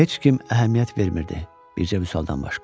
Heç kim əhəmiyyət vermirdi, bircə Vüsal-dan başqa.